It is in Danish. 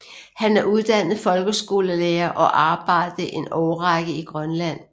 Han er uddannet folkeskolelærer og arbejdede en årrække i Grønland